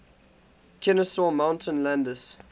kenesaw mountain landis